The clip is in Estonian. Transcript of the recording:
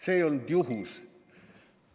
See ei olnud juhus.